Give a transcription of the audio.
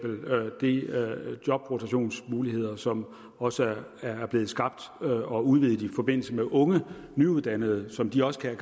jobrotationsmuligheder som også er blevet skabt og udvidet i forbindelse med unge nyuddannede og som de også kan